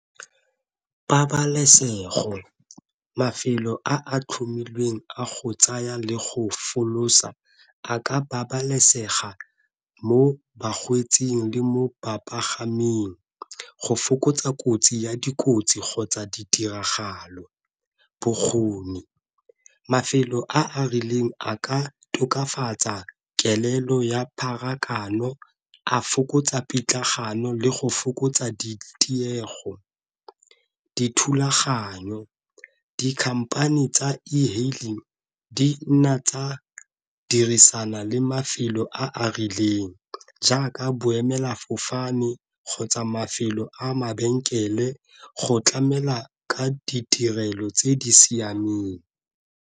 Pabalesego mafelo a a tlhomilweng a go tsaya le go folosa a ka babalesega mo bakgweetsing le mo bapagaming, go fokotsa kotsi ya dikotsi kgotsa ditiragalo. Bokgoni, mafelo a a rileng a ka tokafatsa kelelo ya pharakano a fokotsa pitlagano le go fokotsa di tiego. Dithulaganyo, di-company tsa ehailing di nna tsa dirisana le mafelo a a rileng jaaka boemelafofane kgotsa mafelo a mabenkele go tlamela ka ditirelo tse di siameng.